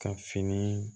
Ka fini